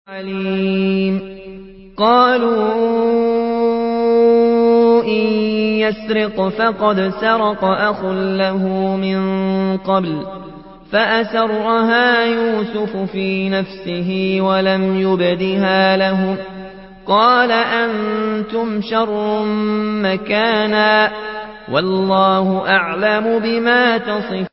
۞ قَالُوا إِن يَسْرِقْ فَقَدْ سَرَقَ أَخٌ لَّهُ مِن قَبْلُ ۚ فَأَسَرَّهَا يُوسُفُ فِي نَفْسِهِ وَلَمْ يُبْدِهَا لَهُمْ ۚ قَالَ أَنتُمْ شَرٌّ مَّكَانًا ۖ وَاللَّهُ أَعْلَمُ بِمَا تَصِفُونَ